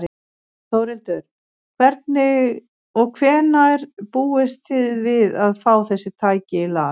Þórhildur: Og hvenær búist þið við að fá þessi tæki í lag?